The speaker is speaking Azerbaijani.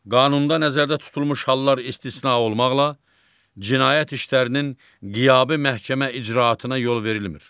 Qanunda nəzərdə tutulmuş hallar istisna olmaqla, cinayət işlərinin qiyabi məhkəmə icraatına yol verilmir.